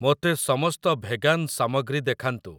ମୋତେ ସମସ୍ତ ଭେଗାନ୍ ସାମଗ୍ରୀ ଦେଖାନ୍ତୁ ।